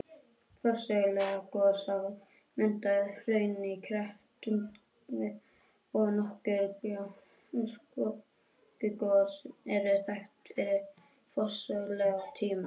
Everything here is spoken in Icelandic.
Forsöguleg gos hafa myndað hraun í Krepputungu, og nokkur gjóskugos eru þekkt frá forsögulegum tíma.